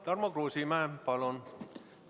Tarmo Kruusimäe, palun!